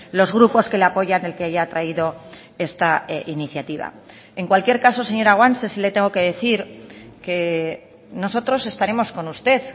los grupos que le apoyan el que haya traído esta iniciativa en cualquier caso señora guanche sí le tengo que decir que nosotros estaremos con usted